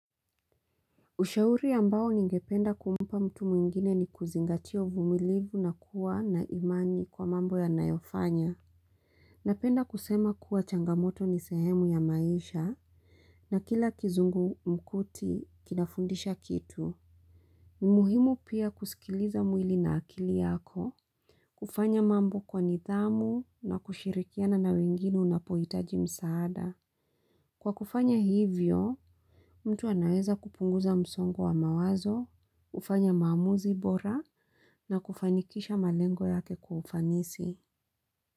Ushauri ambao ningependa kumpa mtu mwingine ni kuzingatia uvumilivu na kuwa na imani kwa mambo anayofanya. Napenda kusema kuwa changamoto ni sehemu ya maisha na kila kizungumkuti kinafundisha kitu. Ni muhimu pia kusikiliza mwili na akili yako. Kufanya mambo kwa nidhamu na kushirikiana na wengine unapohitaji msaada. Kwa kufanya hivyo, mtu anaweza kupunguza msongo wa mawazo, hufanya maamuzi bora na kufanikisha malengo yake kufanisi.